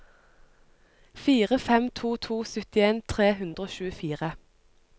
fire fem to to syttien tre hundre og tjuefire